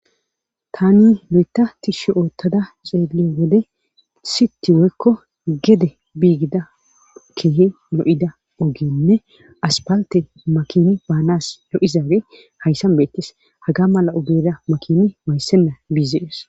Taani loytta tishi oottada ceeliyiyo wode sitting woykko gede biigida keehi lo7ida ogenne asppaltte makina bananas lo7iza ogey hayssan beettes haga mela ogera makina waayisenna bizees